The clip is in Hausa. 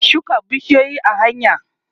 za'a shuka bishiyoyi a hanya